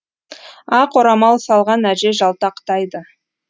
ақ орамал салған әже жалтақтайды